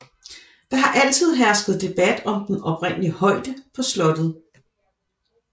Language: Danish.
Der har altid hersket debat om den oprindelige højde på slottet